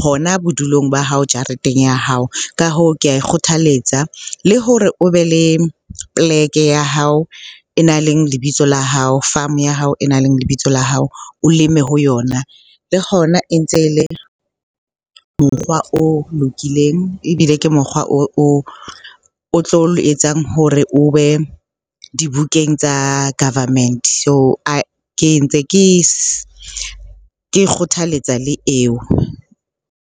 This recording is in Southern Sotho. hona bodulong ba hao jareteng ya hao. Ka hoo, ke a le kgothalletsa le hore o be le poleke ya hao e nang le lebitso la hao. Farm ya hao e nang le lebitso la hao, o leme ho yona. Le hona e ntse le mokgwa o lokileng ebile ke mokgwa o tlo etsang hore o be dibukeng tsa government. So, ke ntse ke e kgothaletsa le eo.